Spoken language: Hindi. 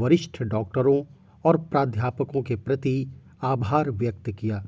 वरिष्ठ डॉक्टरों और प्राध्यापकों के प्रति आभार व्यक्त किया